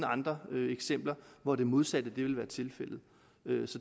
andre eksempler hvor det modsatte vil være tilfældet